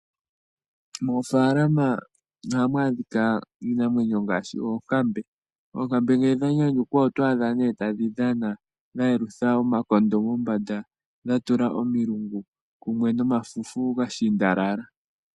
Mofalama oha mwadhika Iinamwenyo ngashi ookambe, ookambe ngele dhanyanyukwa otwadha ne tadhi dhana dhayelutha omakondo mombanda dhatula omilungu kumwe nomafufu nga shindalala.